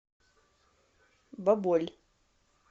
баболь